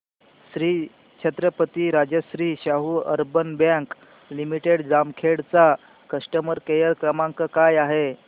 Shri Chhatrapati Rajashri Shahu urban bank limited Jamkhed चा customer care क्रमांक काय आहे